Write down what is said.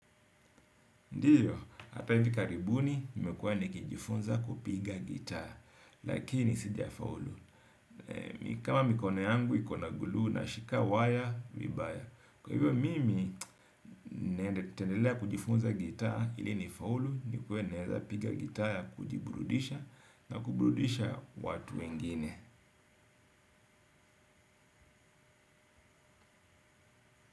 Ndiyo, ata hivi karibuni, nimekuwa nikijifunza kupiga gitaa, lakini sijafaulu. Kama mikono yangu, iko na gluu, nashika waya, vibaya. Kwa hivyo, mimi, nitaendelea kujifunza gitaa ili nifaulu, nikuwe naweza piga gitaa kujiburudisha na kuburudisha watu wengine.